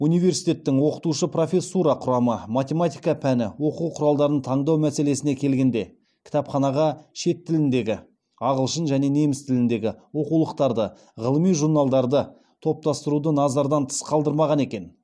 университеттің оқытушы профессура құрамы математика пәні оқу құралдарын таңдау мәселесіне келгенде кітапханаға шет тіліндегі ағылшын және неміс тіліндегі оқулықтарды ғылыми журналдарды топтастыруды назардан тыс қалдырмаған екен